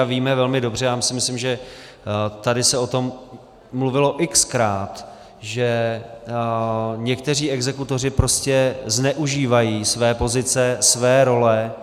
A víme velmi dobře, myslím, že tady se o tom mluvilo x-krát, že někteří exekutoři prostě zneužívají své pozice, své role.